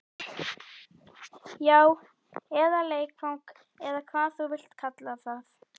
Já, eða leikfang eða hvað þú vilt kalla það.